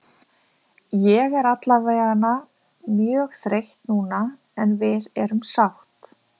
Ég er allavegana mjög þreytt núna en við erum sátt.